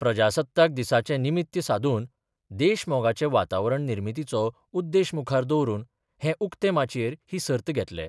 प्रजासत्ताक दिसाचे निमित्य सादून देश मोगाचे वातावरण निर्मितीचो उद्देश मुखार दवरून हे उक्ते माचयेर ही सर्त घेतले.